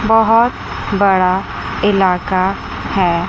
बहोत बड़ा इलाका है।